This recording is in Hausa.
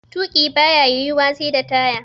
Tuƙi baya yiwuwa sai da taya.